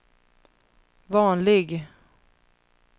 vanlig